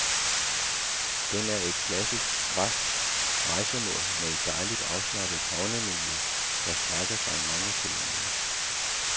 Den er et klassisk, græsk rejsemål med et dejligt, afslappet havnemiljø, der strækker sig mange kilometer.